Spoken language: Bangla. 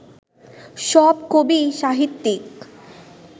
সব কবি, সাহিত্যিক